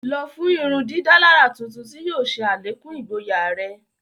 Lọ fun ìrundidàlarà tuntun tí yóò ṣe alekun igboya rẹ!